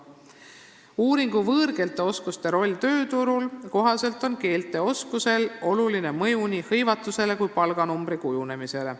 Uuringu "Võõrkeelte oskuse roll tööturul" kohaselt on keelteoskusel oluline mõju nii hõivatusele kui ka palganumbri kujunemisele.